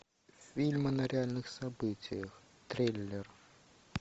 фильмы на реальных событиях трейлер